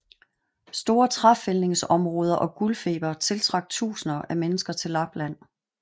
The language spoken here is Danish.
Store træfældningsområder og guldfeber tiltrak tusinder af mennesker til Lapland